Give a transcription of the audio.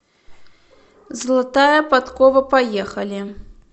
золотая подкова поехали